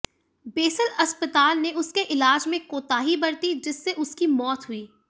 basal अस्पताल ने उसके इलाज में कोताही बरती जिससे उसकी मौत हुई